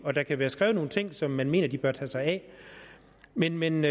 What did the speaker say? og der kan være skrevet nogle ting som man mener de bør tage sig af men men